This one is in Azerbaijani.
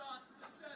Bilirsən ki, yəni.